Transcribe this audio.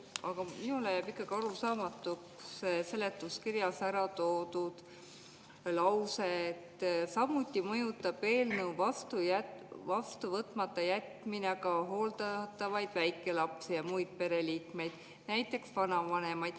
Aga minule jääb ikkagi arusaamatuks seletuskirjas ära toodud lause "Samuti mõjutab eelnõu vastu võtmata jätmine ka hooldatavaid väikelapsi ja muid pereliikmeid .